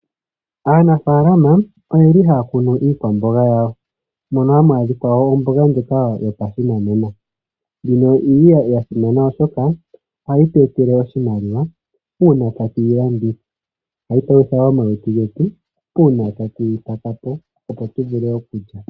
Aanafalama oyeli haya kunu iikwamboga yawo, moka hamu adhika omboga ndjoka yopashinanena, ndjoka yili ya simana oshoka ohayi tu etele oshimaliwa, uuna tatu yi landitha. Ohayi palutha wo omalutu getu uuna tatu yi pakapo opo tu vule okulya.